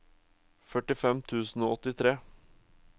førtifem tusen og åttitre